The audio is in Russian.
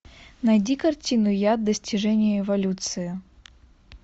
найди картину яд достижение эволюции